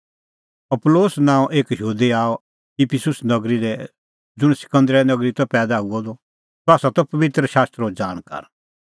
अपूलोस नांओं एक यहूदी आअ इफिसुस नगरी लै ज़ुंण सिकंदरीया नगरी दी त पैईदा हुअ द सह त पबित्र शास्त्रो ज़ाणकार